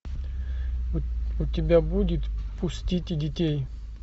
у тебя будет пустите детей